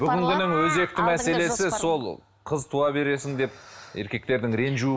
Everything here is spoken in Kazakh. бүгінгінің өзекті мәселесі сол қыз туа бересің деп еркектердің ренжу